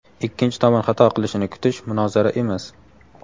ikkinchi tomon xato qilishini kutish munozara emas.